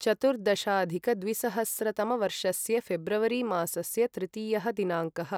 चतुर्दशाधिकद्विसहस्रतमवर्षस्य February मासस्य तृतीयः दिनाङ्कः